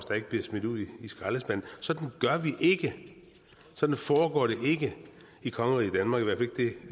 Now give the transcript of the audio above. og ikke bliver smidt ud i skraldespanden sådan gør vi ikke sådan foregår det ikke i kongeriget danmark